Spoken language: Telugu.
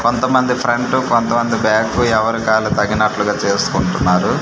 కొంత మంది ఫ్రంట్ కొంత మంది బ్యాక్ ఎవరికి ఆళ్లు తగినట్లుగా చేసుకుంటున్నారు.